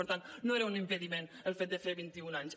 per tant no era un impediment el fet de fer vint i un anys